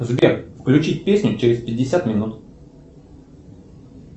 сбер включить песню через пятьдесят минут